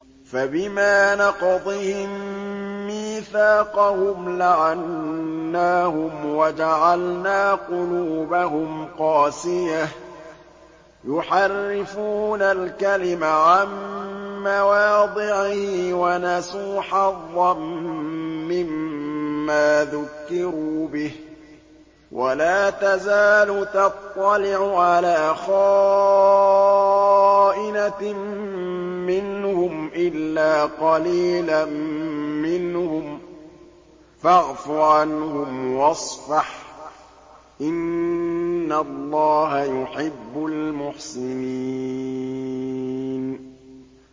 فَبِمَا نَقْضِهِم مِّيثَاقَهُمْ لَعَنَّاهُمْ وَجَعَلْنَا قُلُوبَهُمْ قَاسِيَةً ۖ يُحَرِّفُونَ الْكَلِمَ عَن مَّوَاضِعِهِ ۙ وَنَسُوا حَظًّا مِّمَّا ذُكِّرُوا بِهِ ۚ وَلَا تَزَالُ تَطَّلِعُ عَلَىٰ خَائِنَةٍ مِّنْهُمْ إِلَّا قَلِيلًا مِّنْهُمْ ۖ فَاعْفُ عَنْهُمْ وَاصْفَحْ ۚ إِنَّ اللَّهَ يُحِبُّ الْمُحْسِنِينَ